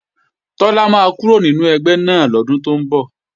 Tọ́lá máa kúrò nínú ẹgbẹ́ náà lọ́dún tó ń bọ̀